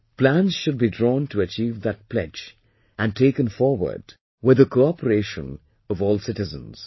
Plans should be drawn to achieve that pledge and taken forward with the cooperation of all citizens